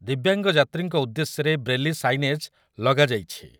ଦିବ୍ୟାଙ୍ଗ ଯାତ୍ରୀଙ୍କ ଉଦ୍ଦେଶ୍ୟରେ braille signage ଲଗାଯାଇଛି ।